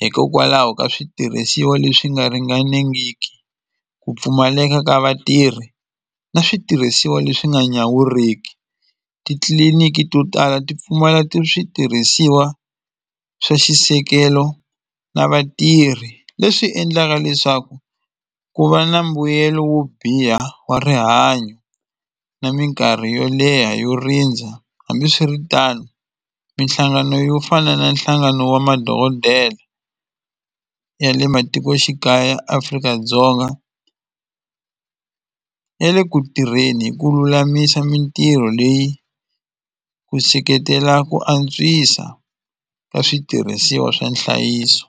hikokwalaho ka switirhisiwa leswi nga ringanengiki ku pfumaleka ka vatirhi na switirhisiwa leswi nga nyawuriki titliliniki to tala ti pfumala switirhisiwa swa xisekelo na vatirhi leswi endlaka leswaku ku va na mbuyelo wo biha wa rihanyo na mikarhi yo leha yo rindza hambiswiritano minhlangano yo fana na nhlangano wa madokodela ya le matikoxikaya Afrika-Dzonga ya le ku tirheni hi ku lulamisa mitirho leyi ku seketela ku antswisa ka switirhisiwa swa nhlayiso.